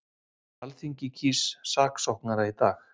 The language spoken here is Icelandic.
Alþingi kýs saksóknara í dag